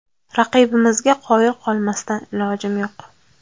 Raqibimizga qoyil qolmasdan ilojim yo‘q.